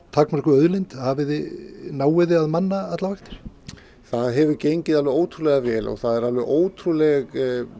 takmörkuð auðlind náið þið að manna allar vaktir það hefur gengið alveg ótrúlega vel og það er alveg ótrúleg